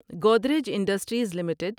Godrej Industries limited